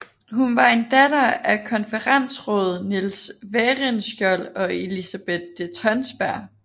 Hun var en datter af konferensråd Niels Werenskiold og Elisabeth de Tonsberg